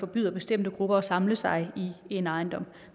byder bestemte grupper at samle sig i en ejendom